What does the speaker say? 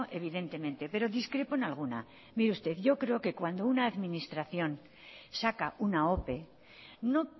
evidentemente pero discrepo en alguna mire usted yo creo que cuando una administración saca una ope no